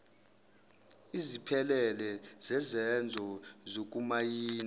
eziphelele zezenzo zokumayina